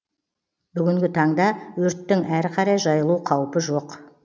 бүгінгі таңда өрттің әрі қарай жайылу қаупі жоқ